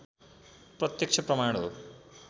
प्रत्यक्ष प्रमाण हो